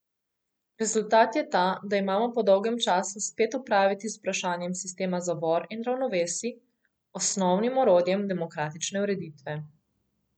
Rezultat je ta, da imamo po dolgem času spet opraviti z vprašanjem sistema zavor in ravnovesij, osnovnim orodjem demokratične ureditve.